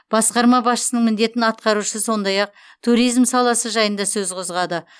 басқармасы басшысының міндетін атқарушы сондай ақ туризм саласы жайында сөз қозғады